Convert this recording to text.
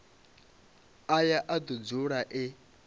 aya a do dzula e